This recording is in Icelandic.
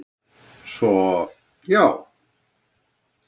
Svo, já!